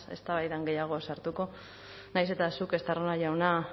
eztabaidan gehiago sartuko nahiz eta zuk estarrona jauna